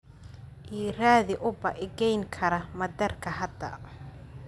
ii raadi uber i geeyn kara madaarka hadda